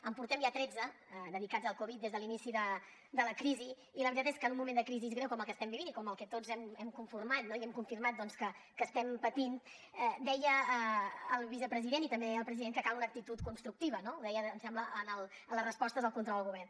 en portem ja tretze dedicats al covid des de l’inici de la crisi i la veritat és que en un moment de crisi greu com el que estem vivint i com el que tots hem conformat no i hem confirmat que estem patint deia el vicepresident i també el president que cal una actitud constructiva no ho deien em sembla en les respostes al control del govern